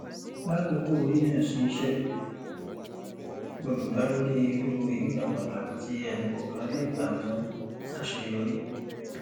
lákòókò yíyàn sí iṣẹ gbọdọ dá lórí ìrú ìríran pàtàkì tí ẹnikọọkan lè gbà mú àṣeyọrí